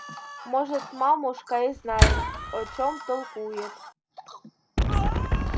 может мамушка и знает о чём толкует